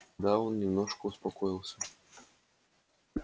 да он немножко успокоился